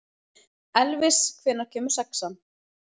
Elvis, hvenær kemur sexan?